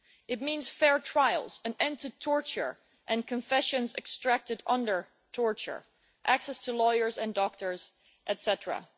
It means fair trials, an end to torture and confessions extracted under torture, access to lawyers and doctors, etcetera.